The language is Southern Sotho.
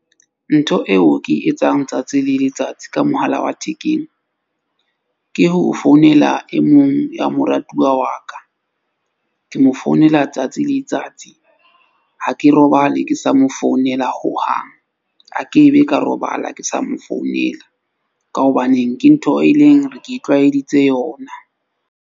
Ntho eo ke e etsang tsatsi le letsatsi ka mohala wa thekeng. Ke ho founela e mong ya moratuwa wa ka. Ke mo founela tsatsi le tsatsi. Ha ke robale ke sa mo founela hohang akebe ka robala ke sa mo founela. Ka hobaneng ke ntho e leng hore ke itlwaeditse yona.